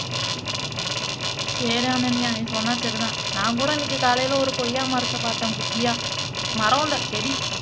சரி அனன்யா நீ சொன்னா சரிதான் நான் கூட இன்னைக்கு காலைலே ஒரு கொய்யா மரத்த பார்த்தேன் குட்டியா மரம் இல்ல செடி